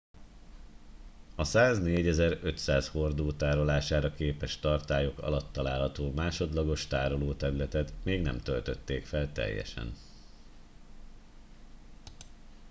a 104 500 hordó tárolására képes tartályok alatt található másodlagos tárolóterületet még nem töltötték fel teljesen